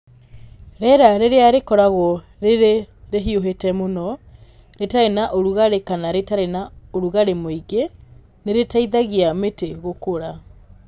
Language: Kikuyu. Rĩera rĩrĩa rĩkoragwo rĩrĩ rĩhiũhĩte mũno, rĩtarĩ na ũrugarĩ kana rĩtarĩ na ũrugarĩ mũingĩ, nĩrĩteithagia mĩtĩ gũkũra.